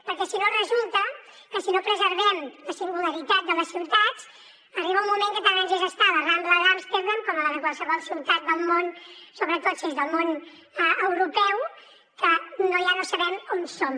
perquè si no resulta que si no preservem la singularitat de les ciutats arriba un moment que tant ens és estar a la rambla d’amsterdam com a la de qualsevol ciutat del món sobretot si és del món europeu que ja no sabem on som